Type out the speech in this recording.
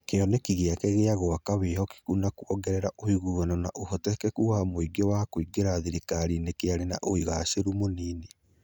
Kĩoneki gĩake gĩa gwaka wĩhokeku na kwongerera ũiguano na ũhotekeku wa mũingĩ wa kũingĩra thirikari-inĩ kĩarĩ na ũgaacĩru mũnini.